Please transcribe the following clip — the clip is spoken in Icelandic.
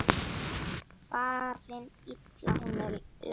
Farin illa hún er lest.